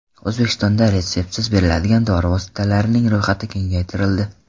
O‘zbekistonda retseptsiz beriladigan dori vositalarining ro‘yxati kengaytirildi.